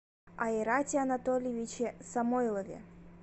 айрате анатольевиче самойлове